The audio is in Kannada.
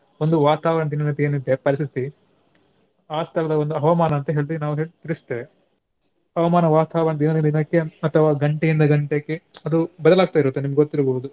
ಒಂದು ವಾತಾವರಣ ಪರಿಸ್ಥಿತಿ ಆ ಸ್ಥಳವನ್ನು ಹವಾಮಾನ ಅಂತ ಹೇಳ್ತೇವೆ ನಾವು ತಿಳಿಸ್ತೇವೆ. ಹವಾಮಾನ ವಾತಾವರಣ ದಿನದಿಂದ ದಿನಕ್ಕೆ ಅಥವಾ ಗಂಟೆಯಿಂದ ಗಂಟೆಗೆ ಅದು ಬದಲಾಗುತ್ತ ಇರುತ್ತದೆ ನಿಮಗೆ ಗೊತ್ತಿರ್ಬಹುದು.